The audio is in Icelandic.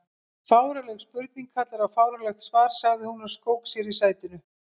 Fáránleg spurning kallar á fáránlegt svar sagði hún og skók sér í sætinu.